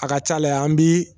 A ka ca la yan, an bi